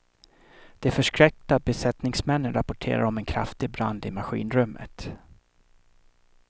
De förskräckta besättningsmännen rapporterade om en kraftig brand i maskinrummet.